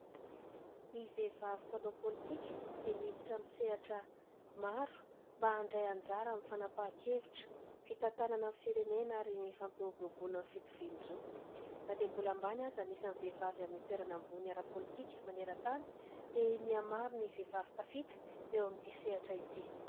Ny vehivavy mpanao politika dia miditra amin'ny sehatra maro mba handray anjara amin'ny fanampaha-kevitra, fitantanana ny firenena ary ny fampiroboroboana ny fitovian-jo. Na dia mbola ambany aza ny isan'ny vehivavy amin'ny toerana ambony ara-politika manerantany dia mihamaro ny vehivavy tafita eo amin'ity sehatra ity.